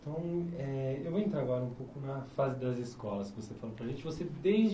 Então, eh eu vou entrar agora um pouco na fase das escolas que você falou para a gente. Você